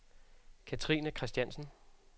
Cathrine Christiansen